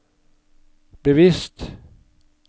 bevisst